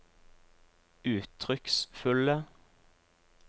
uttrykksfulle